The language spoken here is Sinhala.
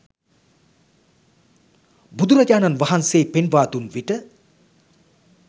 බුදුරජාණන් වහන්සේ පෙන්වා දුන් විට